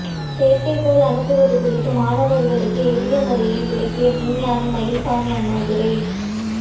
செயற்கைகோள் அனுப்புவது குறித்து மாணவர்களுக்கு எளியமுறையில் விளக்கிய விஞ்ஞானி மயில்சாமி அண்ணாதுரை